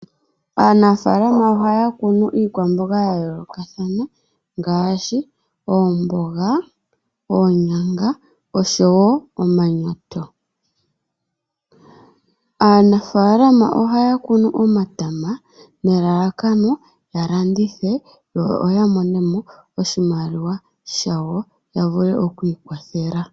Aanafaalama ohaya kunu iikwamboga ya yoolokathana, ngaashi oomboga oonyanga osho wo omanyoto. Aanafaalama ohaya kunu omatama nelalakano ya landithe, yo ya monemo oshimaliwa shawo ya vule oku ikwathela.